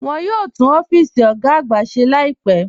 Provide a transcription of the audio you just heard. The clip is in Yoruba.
Wọ́n yóò túún ọ̀fíìsì ogá àgbà ṣè láìpẹ́.